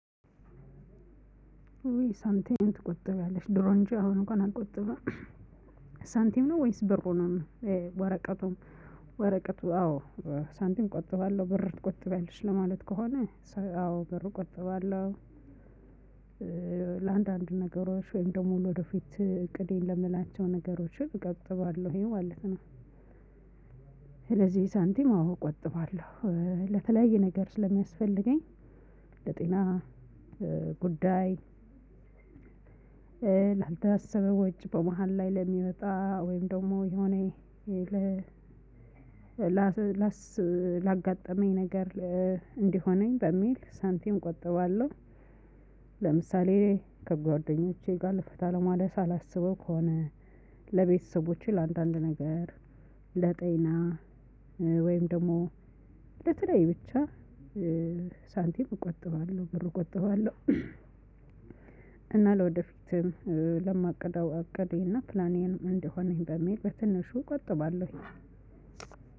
ዊ ሳንቲም ትቆጥቢያለሽ ድሮ እንጂ አሁን እንኳን አልቆጥብም። ሳንቲም ነው ወይስ ብሩ ነው? ወረቀቱም። ወረቀቱ አዎ። ሳንቲም ቆጥባለው ብር ትቆጥቢያለሽ ለማለት ከሆነ? አዎ ብሩ ቆጥባለው። ለአንዳንድ ነገሮች ወይም ደግሞ ወደፊት እቅዴን ለምላቸው ነገሮች እቆጥባለሁ ማለት ነው። ስለዚህ ሳንቲም አዎ እቆጥባለሁ ለተለያየ ነገር ስለሚያስፈልገኝ ለጤና ጉዳይ። ላልታሰበ ወጪ በመሃል ላይ ለሚመጣ ወይም ደግሞ የሆነ ላጋጠመኝ ነገር እንዲሆነኝ በሚል ሳንቲም እቆጥባለሁ። ለምሳሌ ከጓደኞቼ ጋር ፈታ ማለት አላስበው ከሆነ። ለቤተሰቦቼ ለአንዳንድ ነገር ለጤና ወይም ደግሞ ለተለይ ብቻ። ሳንቲም እቆጥባለሁ ብሩ እቆጥባለሁ። እና ለወደፊትም ለማቅደው አቅዴ እና ፕላኔን እንደሆነኝ በሚል በትንሹ እቆጥባለሁ።